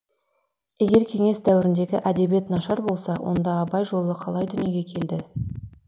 егер кеңес дәуіріндегі әдебиет нашар болса онда абай жолы қалай дүниеге келді